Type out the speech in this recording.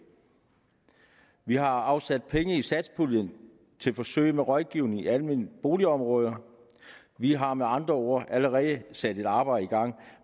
vi har afsat penge i satspuljen til forsøg med rådgivning i almene boligområder vi har med andre ord allerede sat et arbejde i gang